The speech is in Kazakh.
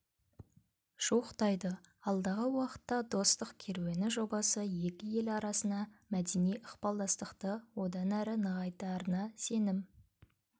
жуықтайды алдағы уақытта достық керуені жобасы екі ел арасына мәдени ықпалдастықты одан әрі нығайтарына сенім